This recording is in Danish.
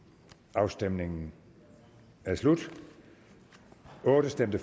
afstemningen er slut for stemte